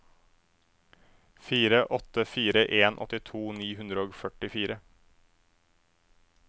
fire åtte fire en åttito ni hundre og førtifire